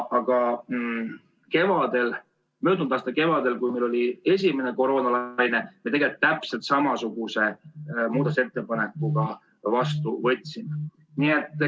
Aga möödunud aasta kevadel, kui meil oli esimene koroonalaine, me tegelikult täpselt samasuguse muudatusettepaneku vastu võtsime.